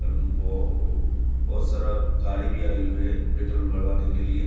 बोहत सारा गाड़ी भी आई हुई है पेट्रोल भरवाने के लिए |